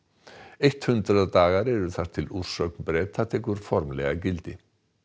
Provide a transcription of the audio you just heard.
eitt hundrað dagar eru þar til úrsögn Breta tekur formlega gildi